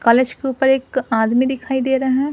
College के ऊपर एक आदमी दिखाई दे रहा है।